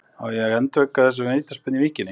Á ekki að endurtaka þessa vítaspyrnu í Víkinni?